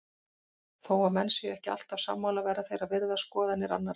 Þó að menn séu ekki alltaf sammála verða þeir að virða skoðanir annara.